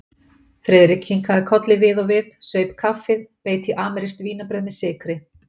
Friðrik kinkaði kolli við og við, saup kaffið, beit í amerískt vínarbrauð með sykri.